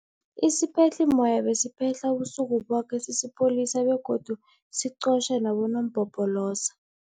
Isiphehlimmoya besiphehla ubusuku boke sisipholisa begodu siqotjha nabonompopoloza.